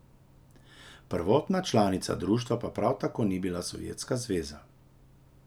Prvotna članica društva pa prav tako ni bila Sovjetska zveza.